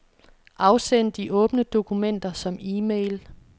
Afsend de åbne dokumenter som e-mail.